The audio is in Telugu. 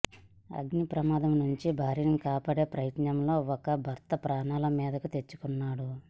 అగ్నిప్రమాదం నుంచి భార్యను కాపాడే ప్రయత్నంలో భర్త ప్రాణాల మీదకు తెచ్చుకున్నాడు